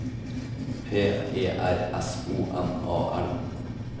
P E R S O N A L